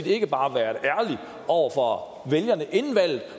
ikke bare være ærlige over for vælgerne inden valget